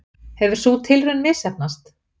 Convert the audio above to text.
Hefur sú tilraun misheppnast?